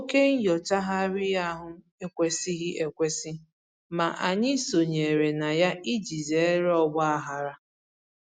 Oke nnyochagharị ahụ ekwesịghị ekwesị, ma anyị sonyere na ya iji zere ọgbaghara